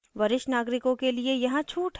वरिष्ठ नागरिकों के लिए यहाँ छूट है